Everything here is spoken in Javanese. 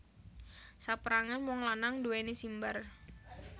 Saperangan wong lanang nduweni simbar